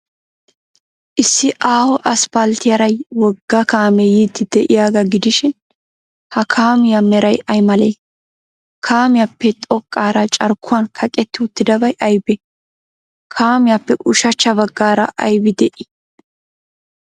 Issi aaho asppalttiyaara wogga kaamee yiiddi de'iyaagaa gidishin, ha kaamiyaa meray ay malee? Kaamiyaappe xoqqaara carkkuwan kaqetti uttidabay aybee? Kaamiyaappe ushachcha baggaara aybi de'ii?